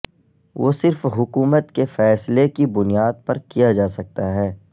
وہ صرف حکومت کے فیصلے کی بنیاد پر کیا جا سکتا ہے